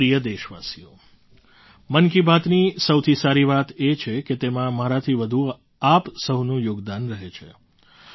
મારા પ્રિય દેશવાસીઓ મન કી બાતની સૌથી સારી વાત એ છે કે તેમાં મારાથી વધુ આપ સહુનું યોગદાન રહે છે